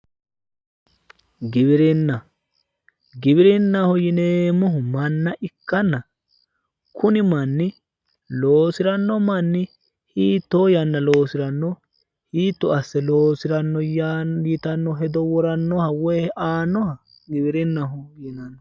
Giwirinna giwirinnaho yineemmohu manna ikkanna kuni manni loosiranno manni hiittoo yanna loosiranno hiitto asse loosiranno yitanno hedo worannoha woyi aannoha giwirinnaho yinanni.